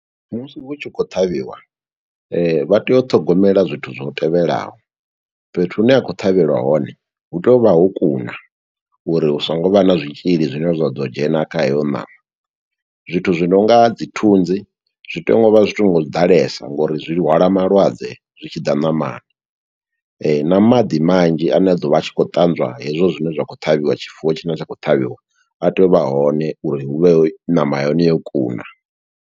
Musi hu tshi khou ṱhavhiwa, vha tea u ṱhogomela zwithu zwo tevhelaho, fhethu hune ha khou ṱhavhelwa hone, hu tea u vha ho kuna, uri hu songo vha na zwitzhili zwine zwa ḓo dzhena kha heyo ṋama. Zwithu zwi nonga dzi thunzi, zwi tea ngo vha zwi songo ḓalesa ngo uri zwi hwala malwadze, zwi tshi ḓa ṋamani. Na maḓi manzhi, ane a ḓo vha a tshi khou ṱanzwa hezwo zwine zwa khou ṱhavhiwa tshifuwo tshine tsha khou ṱhavhiwa, a tea u vha hone uri hu vhe ṋama ya hone yo kuna.